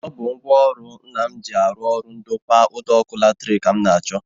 Ọ bụ ngwaọrụ Nna m ji eje ọrụ ndokwa ụdọọkụ latrik ka m na-achọ